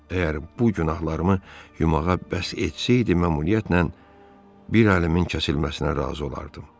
Əgər bu günahlarımı yumağa bəs etsəydi, mütləq bir alimin kəsilməsinə razı olardım.